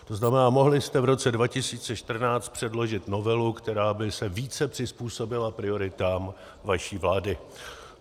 To znamená, mohli jste v roce 2014 předložit novelu, která by se více přizpůsobila prioritám vaší vlády.